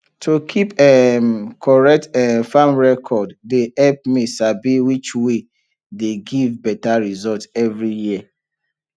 to keep um correct um farm record dey help me sabi which way dey give better result every year